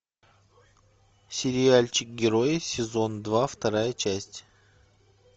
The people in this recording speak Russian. сериальчик герои сезон два вторая часть